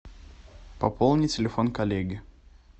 пополнить телефон коллеги